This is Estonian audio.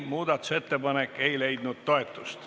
Muudatusettepanek ei leidnud toetust.